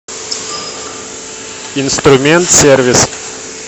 инструмент сервис